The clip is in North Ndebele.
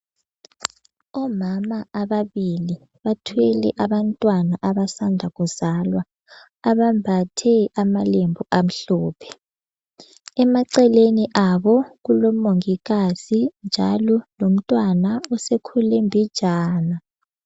Omama ababili bathwele abantwana abasanda kuzalwa ,abambathe amalembu amhlophe. Emaceleni abo kulo mongikazi njalo lomntwana osekhule mbijana.